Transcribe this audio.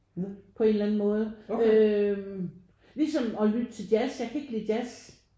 På en eller måde øh ligesom at lytte til jazz. Jeg kan ikke lide jazz